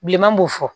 Bilenman b'o fɔ